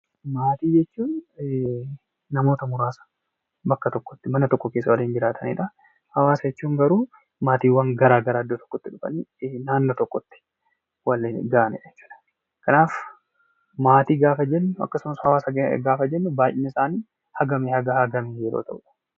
Maatii jechuun namoota muraasa bakka tokkotti mana tokko keessa waliin jiraatan dha. Hawaasa jechuun garuu maatiiwwan garaagaraa iddoo tokkotti dhufanii naannoo tokkotti walga'anii dha jechuu dha. Kanaaf, maatii gaafa jennu akkasumas hawaasa gaafa jennu baay'ina isaanii hagamii haga hagamii yeroo ta'uu dha?